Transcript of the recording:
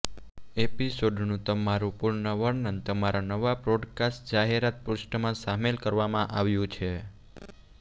એપિસોડનું તમારું પૂર્ણ વર્ણન તમારા નવા પોડકાસ્ટ જાહેરાત પૃષ્ઠમાં શામેલ કરવામાં આવ્યું છે